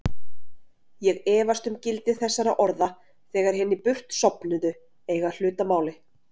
Ég efast um gildi þessara orða þegar hinir burtsofnuðu eiga hlut að máli.